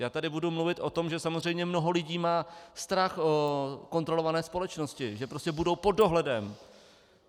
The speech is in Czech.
Já tady budu mluvit o tom, že samozřejmě mnoho lidí má strach z kontrolované společnosti, že prostě budou pod dohledem.